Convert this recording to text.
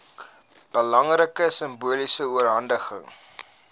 belangrike simboliese oorhandiging